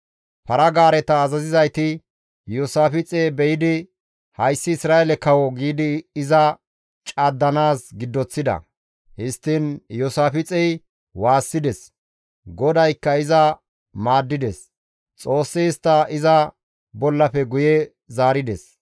Para-gaareta azazizayti Iyoosaafixe be7idi, «Hayssi Isra7eele kawo» giidi iza caddanaas giddoththida; histtiin Iyoosaafixey waassides; GODAYKKA iza maaddides; Xoossi istta iza bollafe guye zaarides.